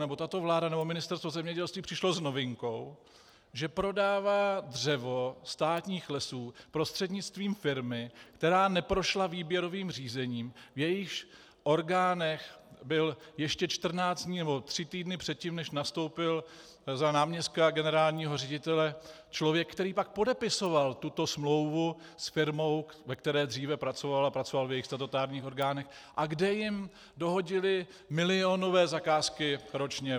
Nebo tato vláda nebo Ministerstvo zemědělství přišlo s novinkou, že prodává dřevo státních lesů prostřednictvím firmy, která neprošla výběrovým řízením, v jejíž orgánech byl ještě 14 dní nebo tři týdny předtím, než nastoupil za náměstka generálního ředitele, člověk, který pak podepisoval tuto smlouvu s firmou, ve které dříve pracoval a pracoval v jejích statutárních orgánech, a kde jim dohodili milionové zakázky ročně.